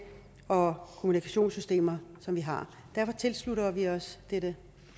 og kommunikationssystemer som vi har derfor tilslutter vi os dette